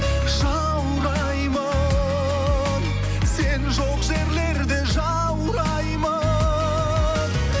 жаураймын сен жоқ жерлерде жаураймын